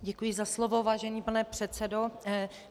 Děkuji za slovo, vážený pane předsedo.